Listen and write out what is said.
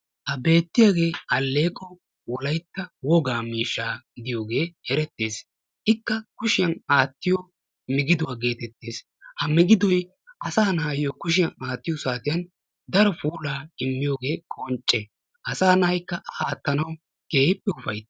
ha beettiyaagee aleeqo wolaytta wogaa miishshaa gidiyoogee erettees. naa"u yelaga naati issisan eqqidaageeti beettoosona. ha naatikka maayido maayuwa meray zo"onne karettanne adil"e mera. ha maayoykka eti wolaytta gidiyoogaa wolayttatettaa qonccissiyaga; aattanawu keehippe ufayttees.